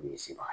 Misi mara